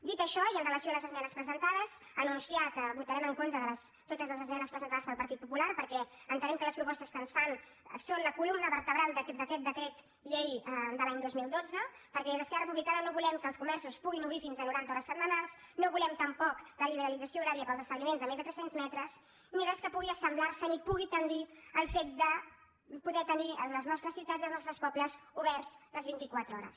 dit això i amb relació a les esmenes presentades anunciar que votarem en contra de totes les esmenes presentades pel partit popular perquè entenem que les propostes que ens fan són la columna vertebral d’aquest decret llei de l’any dos mil dotze perquè des d’esquerra republicana no volem que els comerços puguin obrir fins a noranta hores setmanals no volem tampoc la liberalització horària per als establiments de més de tres cents metres ni res que pugui assemblar se ni pugui tendir al fet de poder tenir les nostres ciutats i els nostres pobles oberts les vint i quatre hores